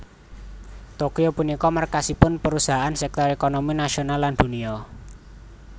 Tokyo punika markasipun perusahaan sektor ékonomi nasional lan dunia